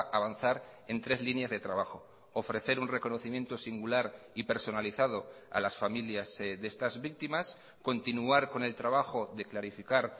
avanzar en tres líneas de trabajo ofrecer un reconocimiento singular y personalizado a las familias de estas víctimas continuar con el trabajo de clarificar